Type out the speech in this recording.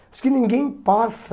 Acho que ninguém passa...